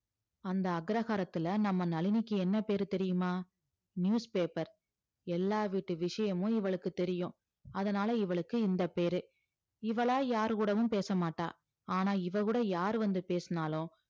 அந்த அக்ரஹாரத்துல நம்ம நளினிக்கு என்ன பேரு தெரியுமா newspaper எல்லா வீட்டு விஷயமும் இவளுக்கு தெரியும் அதனால இவளுக்கு இந்த பேரு இவளா யார் கூடவும் பேச மாட்டா ஆனா இவ கூட யார் வந்து பேசினாலும்